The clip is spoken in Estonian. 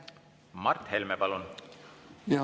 Mart Helme, palun!